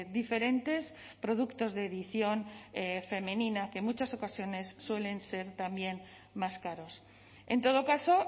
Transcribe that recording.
diferentes productos de edición femenina que en muchas ocasiones suelen ser también más caros en todo caso